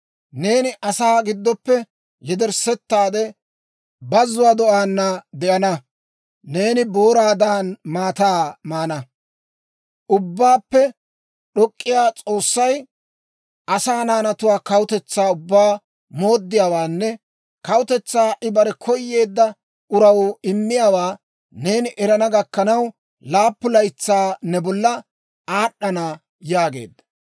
Neeni asaa giddoppe yederssetaade, bazzuwaa do'aana de'ana; neeni booraadan maataa maana. Ubbaappe d'ok'k'iyaa S'oossay asaa naanatu kawutetsaa ubbaa mooddiyaawaanne kawutetsaa I bare koyeedda uraw immiyaawaa neeni erana gakkanaw, laappun laytsay ne bolla aad'd'ana yaageedda.